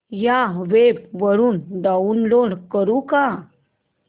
या वेब वरुन डाऊनलोड करू का